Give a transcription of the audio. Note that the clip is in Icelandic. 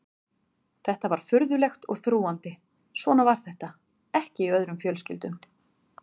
Þetta var furðulegt og þrúgandi, svona var þetta ekki í öðrum fjölskyldum.